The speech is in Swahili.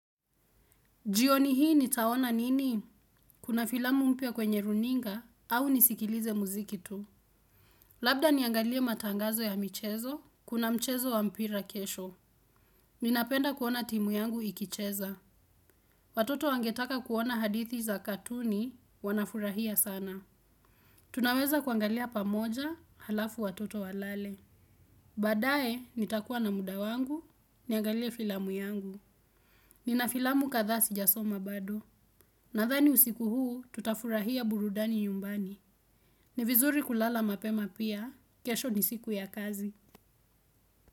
Jioni hii nitaona nini? Kuna filamu mpya kwenye runinga au nisikilize muziki tu. Labda niangalie matangazo ya michezo, kuna mchezo wa mpira kesho. Ninapenda kuona timu yangu ikicheza. Watoto wangetaka kuona hadithi za katuni wanafurahia sana. Tunaweza kuangalia pamoja halafu watoto walale. Baadaye nitakuwa na muda wangu, niangalie filamu yangu. Nina filamu kadhaa sijasoma bado. Nadhani usiku huu tutafurahia burudani nyumbani. Ni vizuri kulala mapema pia. Kesho ni siku ya kazi.